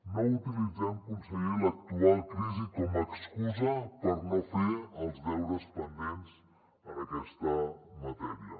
no utilitzem conseller l’actual crisi com a excusa per no fer els deures pendents en aquesta matèria